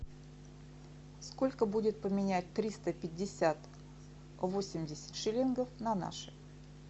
сколько будет поменять триста пятьдесят восемьдесят шиллингов на наши